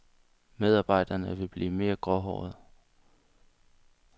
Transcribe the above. Medarbejderne vil blive mere gråhårede.